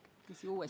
Küsi uuesti!